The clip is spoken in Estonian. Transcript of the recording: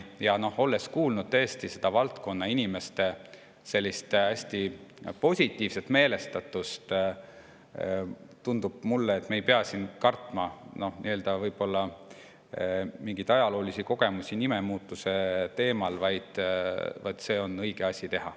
Ja noh, teades tõesti selle valdkonna inimeste hästi positiivset meelestatust, tundub mulle, et me ei pea siin kartma mingeid ajaloolisi kogemusi nimemuutuse tõttu, vaid see on õige asi teha.